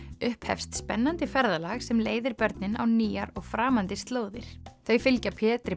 upphefst spennandi ferðalag sem leiðir börnin á nýjar og framandi slóðir þau fylgja Pétri